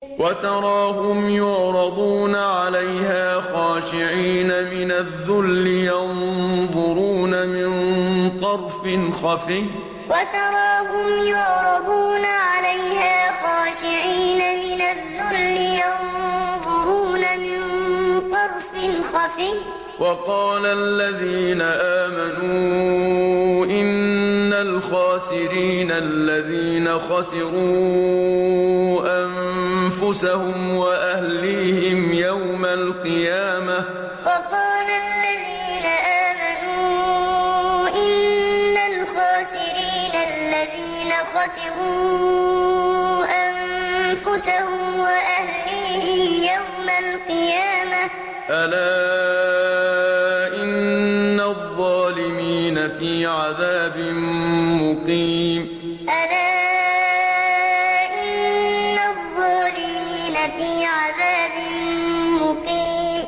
وَتَرَاهُمْ يُعْرَضُونَ عَلَيْهَا خَاشِعِينَ مِنَ الذُّلِّ يَنظُرُونَ مِن طَرْفٍ خَفِيٍّ ۗ وَقَالَ الَّذِينَ آمَنُوا إِنَّ الْخَاسِرِينَ الَّذِينَ خَسِرُوا أَنفُسَهُمْ وَأَهْلِيهِمْ يَوْمَ الْقِيَامَةِ ۗ أَلَا إِنَّ الظَّالِمِينَ فِي عَذَابٍ مُّقِيمٍ وَتَرَاهُمْ يُعْرَضُونَ عَلَيْهَا خَاشِعِينَ مِنَ الذُّلِّ يَنظُرُونَ مِن طَرْفٍ خَفِيٍّ ۗ وَقَالَ الَّذِينَ آمَنُوا إِنَّ الْخَاسِرِينَ الَّذِينَ خَسِرُوا أَنفُسَهُمْ وَأَهْلِيهِمْ يَوْمَ الْقِيَامَةِ ۗ أَلَا إِنَّ الظَّالِمِينَ فِي عَذَابٍ مُّقِيمٍ